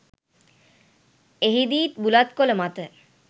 එහිදීත් බුලත් කොළ මත